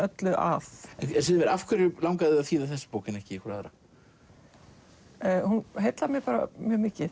öllu að af hverju langaði þig að þýða þessa bók en ekki einhverja aðra hún heillar mig bara mjög mikið